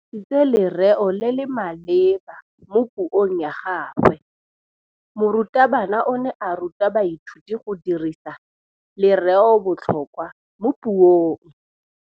O dirisitse lerêo le le maleba mo puông ya gagwe. Morutabana o ne a ruta baithuti go dirisa lêrêôbotlhôkwa mo puong.